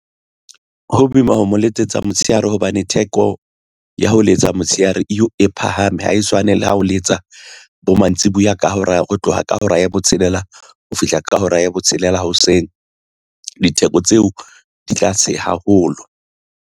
Ho boima ho mo letsetsa motshehare hobane theko ya ho letsa motshehare e phahame ha e tshwane le ha o letsa bo mantsiboya ka hora ho tloha ka hora ya botshelela ho fihla ka hora ya botshelela hoseng. Ditheko tseo di tla se haholo.